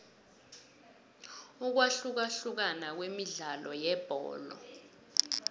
ukwahlukahlukana kwemidlalo yebholo